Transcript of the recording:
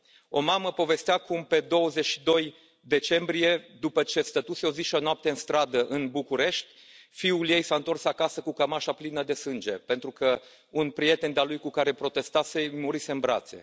O mamă povestea cum pe 22 decembrie, după ce stătuse o zi și o noapte în stradă, în București, fiul ei s a întors acasă cu cămașa plină de sânge pentru că un prieten de al lui cu care protestase îi murise în brațe.